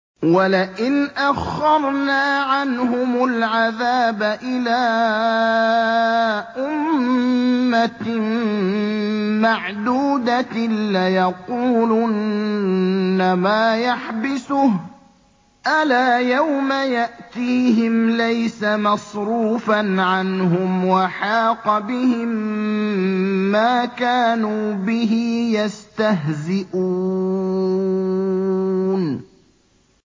وَلَئِنْ أَخَّرْنَا عَنْهُمُ الْعَذَابَ إِلَىٰ أُمَّةٍ مَّعْدُودَةٍ لَّيَقُولُنَّ مَا يَحْبِسُهُ ۗ أَلَا يَوْمَ يَأْتِيهِمْ لَيْسَ مَصْرُوفًا عَنْهُمْ وَحَاقَ بِهِم مَّا كَانُوا بِهِ يَسْتَهْزِئُونَ